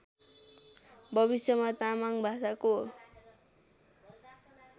भविष्यमा तामाङ भाषाको